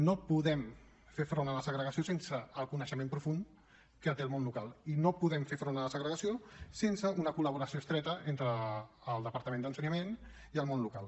no podem fer front a la segregació sense el coneixement profund que té el món local i no podem fer front a la segregació sense una col·laboració estreta entre el departament d’ensenyament i el món local